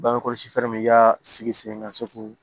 Bangekɔlɔsi fɛɛrɛ min y'a sigi sen ka se k'o